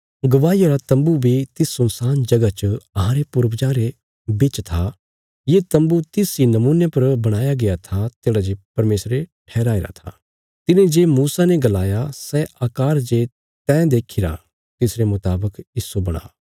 गवाईया रा तम्बू बी तिस सुनसान जगह च अहांरे पूर्वजां रे बिच था ये तम्बू तिस इ नमूने पर बणाया गया था तेढ़ा जे परमेशर ठहराईरा था तिने जे मूसा ने गलाया सै आकार जे तैं देखीरा तिसरे मुतावक इस्सो बणा